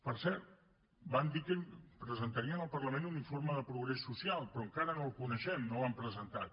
per cert van dir que presentarien al parlament un informe de progrés social però encara no el coneixem no l’han presentat